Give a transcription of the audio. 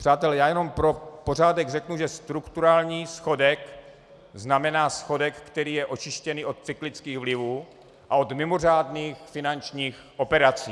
Přátelé, já jenom pro pořádek řeknu, že strukturální schodek znamená schodek, který je očištěný od cyklických vlivů a od mimořádných finančních operací.